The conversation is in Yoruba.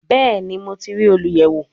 Bẹẹni, Mo ti rii oluyẹwo